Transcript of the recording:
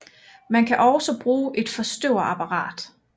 Man kan også bruge et forstøverapparat